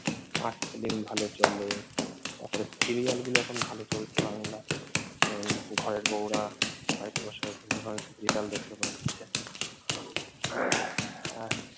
art film ভালো চলে তারপরে serial গুলো এখন ভালো চলছে বাংলায় ঘরের বউরা বাড়িতে বসে এখন serial দেখতে পাচ্ছে।